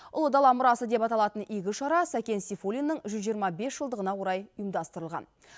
ұлы дала мұрасы деп аталатын игі шара сәкен сейфуллиннің жүз жиырма бес жылдығына орай ұйымдастырылған